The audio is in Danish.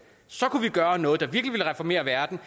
så kunne vi gøre noget der virkelig ville reformere verden